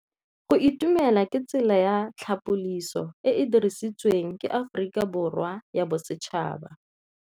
Go itumela ke tsela ya tlhapolisô e e dirisitsweng ke Aforika Borwa ya Bosetšhaba.